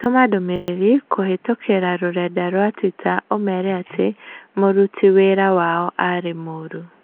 Tũma ndũmĩrĩri kũhītũkīra rũrenda rũa tũita ũmeera atĩ m ũruti wira wao aarĩ mũũru